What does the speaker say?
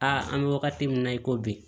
Aa an bɛ wagati min na i ko bi